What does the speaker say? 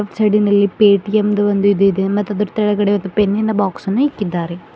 ಸೈಡಿ ನಲ್ಲಿ ಪೆಟಿಎಂ ದು ಒಂದು ಇದು ಇದೆ ಮತ್ ಅದ್ರು ತಳಗಡೆ ಪೆನ್ನ ನ ಬಾಕ್ಸ್ ಅನ್ನು ಇಕ್ಕಿದ್ದಾರೆ.